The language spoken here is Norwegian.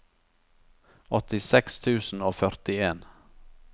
åttiseks tusen og førtien